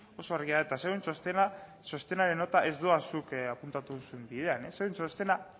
eta zuen txostenaren nota ez doa zuk apuntatu duzun bidean zuen txostena